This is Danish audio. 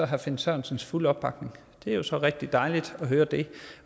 herre finn sørensens fulde opbakning det er så rigtig dejligt at høre det